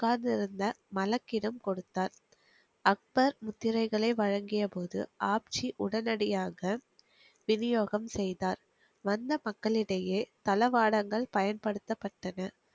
உட்காந்திருந்த மலக்கிடம் கொடுத்தார் அக்பர் முத்திரையை வழங்கிய போது ஆப்ஜி உடனடியாக விநியோகம் செய்தார் வண்ண மக்களிடையே தளவாடங்கள் பயன்படுத்தப்பட்டது